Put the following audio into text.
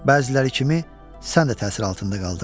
Bəziləri kimi sən də təsir altında qaldın.